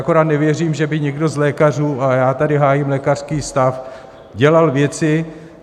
Akorát nevěřím, že by někdo z lékařů - a já tady hájím lékařský stav - dělal věci...